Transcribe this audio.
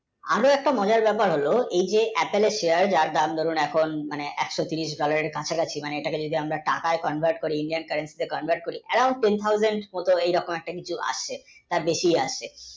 আরও একটা মজার ব্যাপার হোলো এই যে Apple এর share যার দাম এক শ তেইশ dollar এর কাছা কাছি এটা যদি আমরা টাকায় convert করি Indian, currency তে convert করি around, ten thousand এমন কিছু আসছে তার বেশি আসছে